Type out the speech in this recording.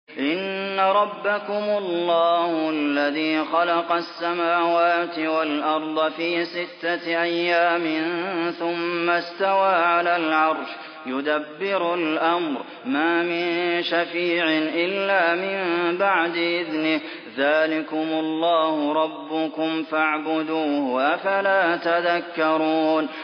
إِنَّ رَبَّكُمُ اللَّهُ الَّذِي خَلَقَ السَّمَاوَاتِ وَالْأَرْضَ فِي سِتَّةِ أَيَّامٍ ثُمَّ اسْتَوَىٰ عَلَى الْعَرْشِ ۖ يُدَبِّرُ الْأَمْرَ ۖ مَا مِن شَفِيعٍ إِلَّا مِن بَعْدِ إِذْنِهِ ۚ ذَٰلِكُمُ اللَّهُ رَبُّكُمْ فَاعْبُدُوهُ ۚ أَفَلَا تَذَكَّرُونَ